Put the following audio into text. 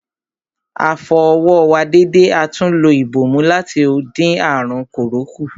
A fọ ọwọ́ wa dédé atún lo ìbòmú láti dín àrùn kòró kù.